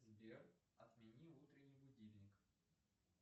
сбер отмени утренний будильник